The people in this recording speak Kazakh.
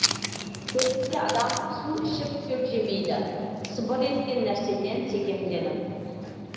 көрінсе адам су ішіп шөп жемейді сыбыр еткен нәрседен секемденіп